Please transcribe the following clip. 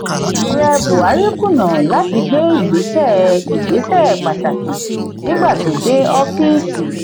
ààrẹ buhari kùnà lati gbe ìgbésẹ ìgbésẹ pàtàkì nígbà tó dé ọọfisi.